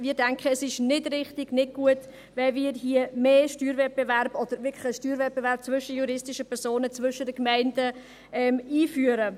Ich denke, es ist nicht richtig, nicht gut, wenn wir hier mehr Steuerwettbewerb, oder wirklich Steuerwettbewerb zwischen juristischen Personen, zwischen den Gemeinden einführen.